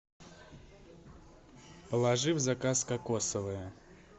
положи в заказ кокосовое